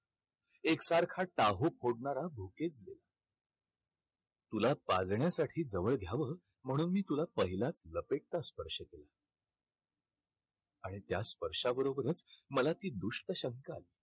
एकसारखा टाहो फोडणारा तुला पाजण्यासाठी जवळ घ्यावं म्हणून मी तुला पहिलाच लपेटला स्पर्श केलं. आणि त्या स्पर्शाबरोबरच मला ती दुष्ट शंका आली.